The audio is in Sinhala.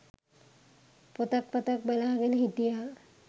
පොතක් පතක් බලාගෙන හිටියා.